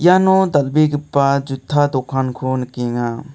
iano dal·begipa jutta dokanko nikenga.